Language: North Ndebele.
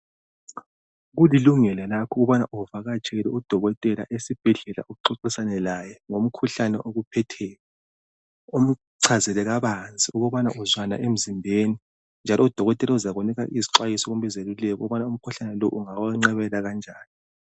Kulilungelo lakho ukubana uvakatshele udokotela esibhedlela uxoxisane laye ngomkhuhlane okuphetheyo umchazele kabanzi ukuba uzwani emzimbeni njalo udokotela uzakunika isixwayiso kumbe izeluleko ukubana umkhuhlane lo ungawenqabela kanjani.